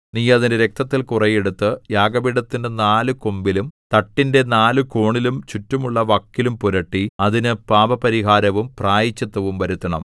നീ അതിന്റെ രക്തത്തിൽ കുറെ എടുത്ത് യാഗപീഠത്തിന്റെ നാല് കൊമ്പിലും തട്ടിന്റെ നാല് കോണിലും ചുറ്റുമുള്ള വക്കിലും പുരട്ടി അതിന് പാപപരിഹാരവും പ്രായശ്ചിത്തവും വരുത്തണം